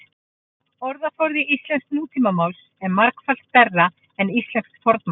orðaforði íslensks nútímamáls er margfalt stærri en íslensks fornmáls